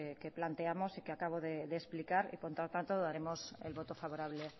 que planteamos y que acabo de explicar y por lo tanto daremos el voto favorable